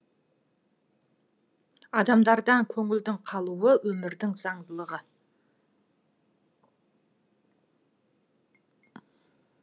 адамдардан көңілдің қалуы өмірдің заңдылығы